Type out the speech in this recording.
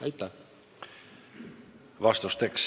Aitäh!